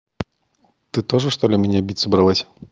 ты тоже что ли меня бить собралась